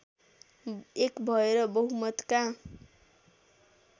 एक भएर बहुमतका